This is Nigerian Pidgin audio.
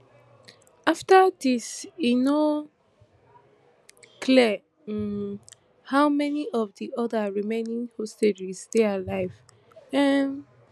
afta dis e no clear um how many of di oda remaining hostages dey alive um